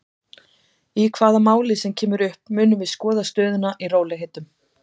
Í hvaða máli sem kemur upp munum við skoða stöðuna í rólegheitum.